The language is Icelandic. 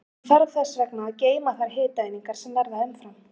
Hann þarf þess vegna að geyma þær hitaeiningar sem verða umfram.